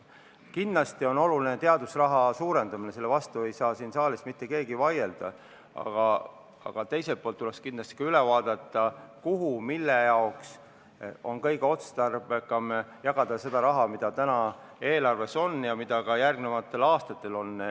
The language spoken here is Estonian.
Kindlasti on oluline teadusraha suurendada, selle vastu ei saa siin saalis mitte keegi vaielda, aga teiselt poolt tuleks kindlasti üle vaadata see, mille jaoks on kõige otstarbekam jagada seda raha, mis täna eelarves on ja mis seal ka järgnevatel aastatel on.